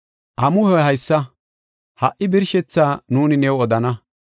“Amuhoy haysa; ha77i birshethaa nuuni new odana.